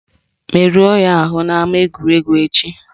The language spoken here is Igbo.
Merụọ ya ahụ n'ama egwuregwu echi!